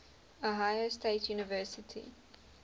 ohio state university